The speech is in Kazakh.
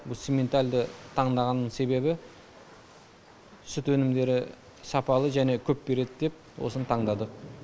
бұл симментальді таңдағанының себебі сүт өнімдері сапалы және көп береді деп осыны таңдады